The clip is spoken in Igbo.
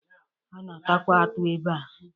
A na-atakwa atụ ebea.